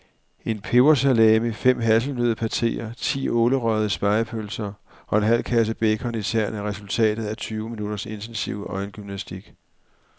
En pebersalami, fem hasselnøddepateer, ti ålerøgede spegepølser og en halv kasse bacon i tern er resultatet af tyve minutters intensiv øjengymnastik.